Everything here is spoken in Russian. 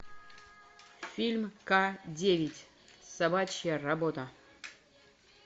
фильм к девять собачья работа